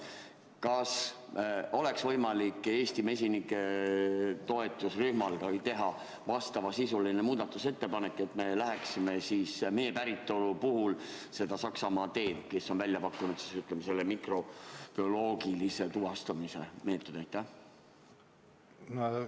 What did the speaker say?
Kas oleks võimalik Eesti mesinike toetusrühmal ka teha vastavasisuline muudatusettepanek, et me läheksime mee päritolu puhul Saksamaa teed, kes on välja pakkunud mikrobioloogilise tuvastamise meetodi?